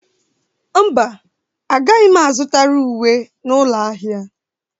Mba, agaghị m azụtara uwe n'ụlọ ahịa.